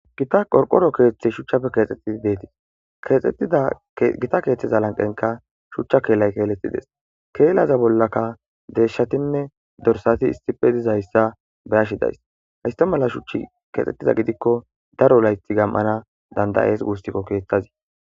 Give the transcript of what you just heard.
Gita qorqoro keeththey shuchchafe keexxettidi deetis gita keeththeza lanqenka shuchcha keelay keeletides keelaza bollaka deeshatinne dorsati issife dizayssa beyashidays hista mala shuchchi keexxettida gidikko daro laythi gam'ana dandayees guustikko keeththazi.